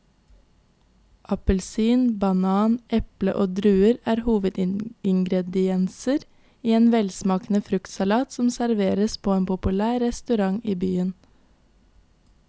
Appelsin, banan, eple og druer er hovedingredienser i en velsmakende fruktsalat som serveres på en populær restaurant i byen.